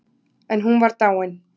En hún var dáin.